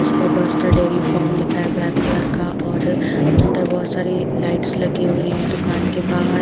इस पे Buster dairy farm लिखा है ब्लैक कलर का और अंदर बहुत सारी लाइट्स लगी हुई हैं दुकान के बाहर --